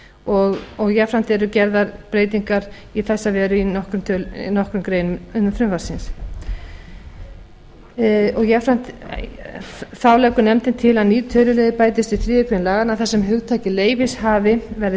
og jafnframt eru gerðar breytingar í þessa veru í nokkrum greinum frumvarpsins þá leggur nefndin til að nýr töluliður bætist við þriðju grein laganna þar sem hugtakið leyfishafi verði